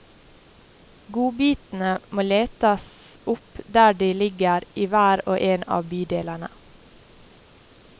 Godbitene må letes opp der de ligger i hver og en av bydelene.